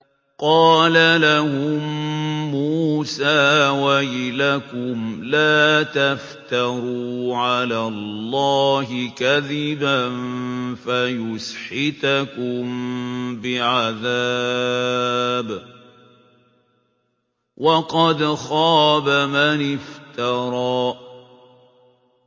قَالَ لَهُم مُّوسَىٰ وَيْلَكُمْ لَا تَفْتَرُوا عَلَى اللَّهِ كَذِبًا فَيُسْحِتَكُم بِعَذَابٍ ۖ وَقَدْ خَابَ مَنِ افْتَرَىٰ